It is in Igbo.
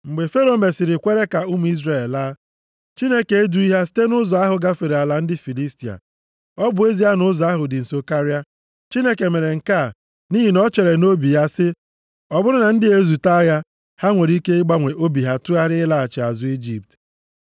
Mgbe Fero mesịrị kwere ka ụmụ Izrel laa, Chineke edughị ha site nʼụzọ ahụ gafere ala ndị Filistia. Ọ bụ ezie na ụzọ ahụ dị nso karịa. + 13:17 Ụzọ ahụ dị nso nke ha esiteghị, jupụtara nʼọtụtụ ebe mgbaba e wusiri ike nke ndị agha Ijipt na-eche nche. Chineke mere nke a nʼihi na o chere nʼobi ya sị, “Ọ bụrụ na ndị a ezute agha, ha nwere ike ịgbanwe obi ha tụgharịa ịlaghachi azụ nʼIjipt.”